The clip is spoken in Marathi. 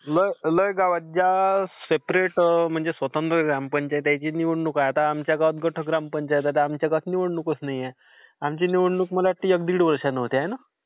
लय लय गावात... आता ज्या सेपरेट म्हणजे स्वतंत्र ग्रामपंचायतची निवडणूक आहे. आता आमच्या गावात गट ग्रामपंचायत आहे, तर आमच्या गावात निवडणूकच नाहीये. आमची निवडणूक मला वाटते, एक दीड वर्षांनी होते. हो ना?